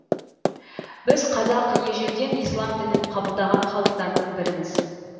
біз қазақ ежелден ислам дінін қабылдаған халықтардың біріміз